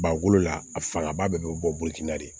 Ba bolo la a fangaba bɛɛ bɛ bɔfin na de